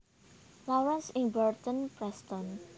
Lawrence ing Barton Preston